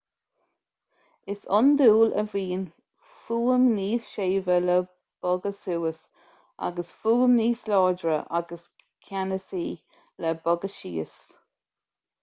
is iondúil a bhíonn fuaim níos séimhe le bogha suas agus fuaim níos láidre agus ceannasaí le bogha síos